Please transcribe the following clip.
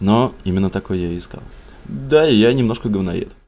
но именно такой я и искал да я немножко говноед